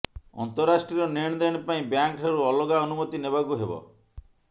ଅନ୍ତରାଷ୍ଟ୍ରୀୟ ନେଣଦେଣ ପାଇଁ ବ୍ୟାଙ୍କଠାରୁ ଅଲଗା ଅନୁମତି ନେବାକୁ ହେବ